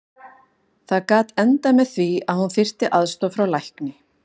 Það gat endað með því að hún þyrfti aðstoð frá lækni.